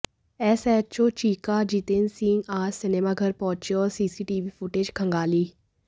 SHO Cheeka Jitendra Singh आज cinema घर पहुंचे और सीसी टीवी फूटेज खंगाली